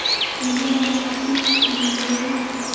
Nĩ mũrarĩha bithi ihinda rĩrĩ?